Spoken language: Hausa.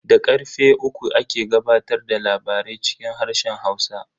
Da karfe uku ake gabatar da labarai cikin harshen Hausa.